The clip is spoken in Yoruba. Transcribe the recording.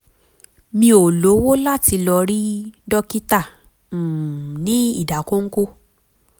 mi ò lówó tó láti lọ rí dókítà um ní ìdákọ́ńkọ́